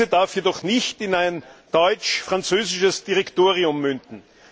Diese darf jedoch nicht in ein deutsch französisches Direktorium münden.